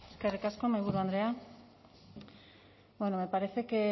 eskerrik asko mahaiburu andrea me parece que